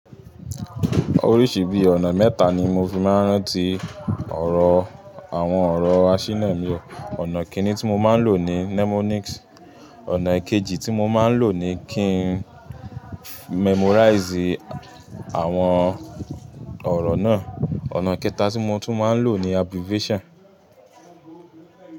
Oríṣi bí ọ̀nà mẹ́ta ni mo fi máa ń rántí ọ̀rọ̀ àwọn ọ̀rọ̀ àsínà mi. Ọ̀nà kini tí mo máa ń lò ní mnemonics, ọ̀nà ìkejì tí mo máa ń lò ni kí n memorize àwọn ọ̀rọ̀ náà. Ọ̀nà kẹta tí mo tún máa ń lò ni abbreviation.